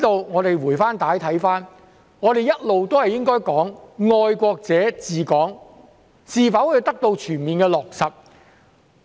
我們回帶看看，我們一直都應該說"愛國者治港"是否得到全面的落實。